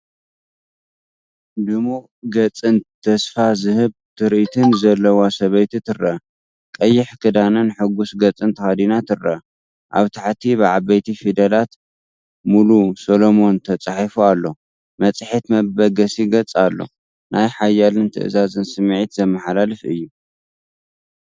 ድሙቕ ገጽን ተስፋ ዝህብ ትርኢትን ዘለዋ ሰበይቲ ትረአ። ቀይሕ ክዳንን ሕጉስ ገጽን ተኸዲና ትረአ። ኣብ ታሕቲ ብዓበይቲ ፊደላት “ሙሉ ሰሎሞን” ተጻሒፉ ኣሎ፣ መጽሔት መበገሲ ገጽ ኣሎ። ናይ ሓይልን ትእዛዝን ስምዒት ዘመሓላልፍ እዩ።